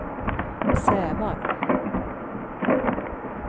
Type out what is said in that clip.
Sävar